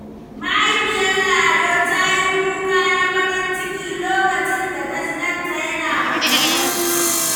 Mahaifiyar Lado ta yi kuka na farin ciki lokacin da ta ji ɗanta yana magana.